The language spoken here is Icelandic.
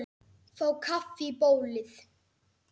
Fá kaffi í bólið.